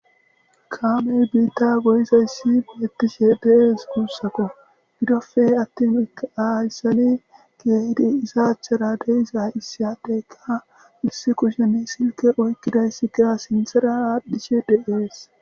Kaamey biitta goyizayssi beettishe deees guussako bidofe atti mika ayssali geedi izaachara deiza issayateeka issi kushene silke oykkidaysi gea sinthera aadhdhishe de7ees